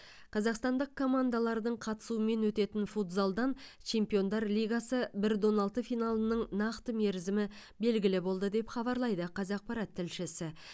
қазақстандық командалардың қатысуымен өтетін футзалдан чемпиондар лигасы бір де он алты финалының нақты мерзімі белгілі болды деп хабарлайды қазақпарат тілшісі